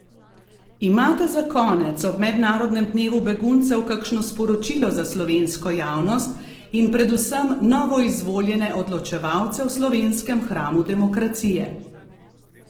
Imate za konec ob mednarodnem dnevu beguncev kakšno sporočilo za slovensko javnost in predvsem novoizvoljene odločevalce v slovenskem hramu demokracije?